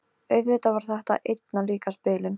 Auðvitað var þetta einna líkast bilun.